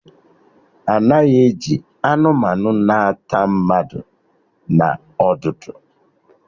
Anaghị eji anụmanụ na ata mmadụ na ọdụdụ